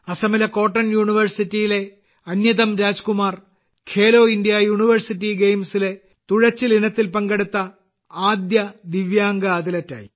അസമിലെ കോട്ടൺ യൂണിവേഴ്സിറ്റിയിലെ അന്യതം രാജ്കുമാർ ഖേലോ ഇന്ത്യ യൂണിവേഴ്സിറ്റി ഗെയിംസിലെ തുഴച്ചിൽ ഇനത്തിൽ പങ്കെടുത്ത ആദ്യ ദിവ്യാംഗ അത്ലറ്റായി